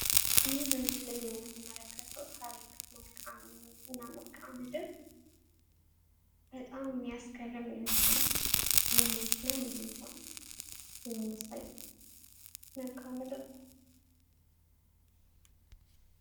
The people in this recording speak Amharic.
ይህ በምስሉ ላይ የምንመለክተው ታሪክ እና መልካምድር በጣም የሚያስገርም የሆን የመኪና መሄጃ የሚያሳይ መልክዓ ምድር ነው። ይህ በምስሉ ላይ የምንመለክተው ታሪክ እና መልካምድር በጣም የሚያስገርም የሆን የመኪና መሄጃ የሚያሳይ መልክዓ ምድር ነው።